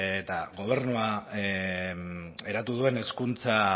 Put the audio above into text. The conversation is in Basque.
eta gobernuak eratu duen hezkuntza